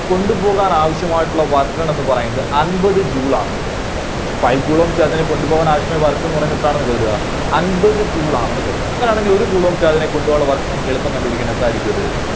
കൊണ്ടുപോകാൻ ആവശ്യമായിട്ടുള്ള Work done ന്ന് പറയുന്നത് അൻപത് Joule ആണത്. five coulomb charge നെ കൊണ്ടുപോകാൻ ആവശ്യമായ work എന്ന് പറയുന്നത് എത്രയാണ് അൻപത് joule ആണെന്ന് കരുതുക. അങ്ങനെയാണെങ്കിൽ ഒരു coulomb charge നെ കൊണ്ടുപോകാനുള്ള work നമുക്ക് എളുപ്പം കണ്ടുപിടിക്കാൻ സാധിക്കുമത്